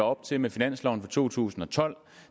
op til med finansloven for to tusind og tolv